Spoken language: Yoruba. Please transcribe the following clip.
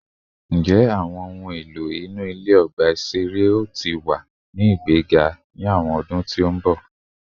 Njẹ awọn ohun elo inu ile ni ọgba iṣere ti o wa ni igbega ni awọn ọdun ti n bọ?